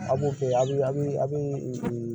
A b'u kɛ a bɛ a bɛ